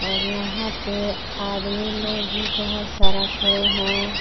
और यहां पे आदमी लोग भी बहोत सारा खड़े हैं।